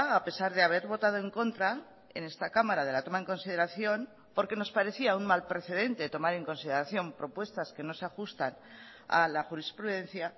a pesar de haber votado en contra en esta cámara de la toma en consideración porque nos parecía un mal precedente tomar en consideración propuestas que no se ajustan a la jurisprudencia